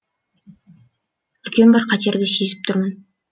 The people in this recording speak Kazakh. үлкен бір қатерді сезіп тұрмын